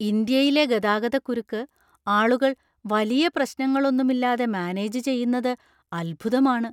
ഇന്ത്യയിലെ ഗതാഗതക്കുരുക്ക് ആളുകൾ വലിയ പ്രശ്നങ്ങളൊന്നുമില്ലാതെ മാനേജ് ചെയ്യുന്നത് അത്ഭുതമാണ്!